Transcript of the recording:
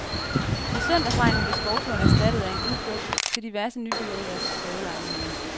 I søndagsregnen blev skovturen erstattet af en udflugt til diverse nybyggeriers prøvelejligheder.